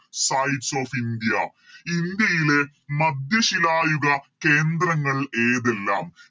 sites of india ഇന്ത്യയിലെ മധ്യശിലായുഗ കേന്ദ്രങ്ങൾ ഏതെല്ലാം